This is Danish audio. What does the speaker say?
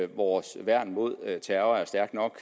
vores værn mod terror er stærkt nok